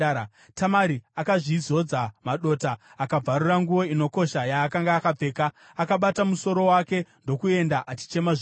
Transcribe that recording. Tamari akazvizodza madota akabvarura nguo inokosha yaakanga akapfeka. Akabata musoro wake ndokuenda achichema zvikuru.